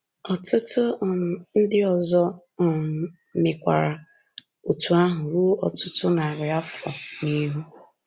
Ọtụtụ um ndị ọzọ um mekwara otú ahụ ruo ọtụtụ narị afọ n’ihu.